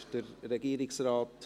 Wünscht Regierungsrat